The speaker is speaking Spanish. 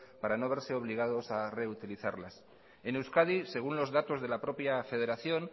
para no verse obligados a reutilizarlas en euskadi según los datos de la propia federación